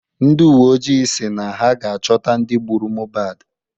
Ndị uwe ojii si na ha ga-achọta ndị gbụrụ Mohbad